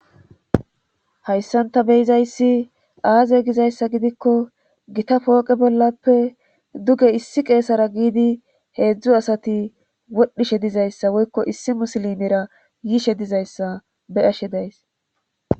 Hayssanta beyizayssi aaze gizayssa gidikko gita pooqe bollappe duge issi qeesara giidi heedzdzu asati wodhishe dizayssa woykko issi musilimera yiishe dizayssa be ashe days.